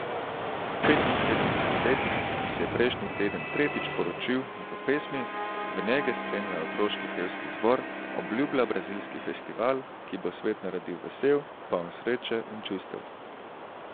Petinsedemdesetletnik, ki se je prejšnji teden tretjič poročil, v pesmi, v njem ga spremljajo otroški pevski zbor, obljublja brazilski festival, ki bo svet naredil vesel, poln sreče in čustev.